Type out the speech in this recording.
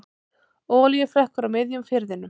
Olíuflekkur á miðjum firðinum